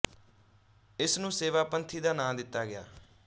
ਇਸ ਨੂੰ ਸੇਵਾ ਪੰਥੀ ਦਾ ਨਾ ਦਿੱਤਾ ਗਿਆ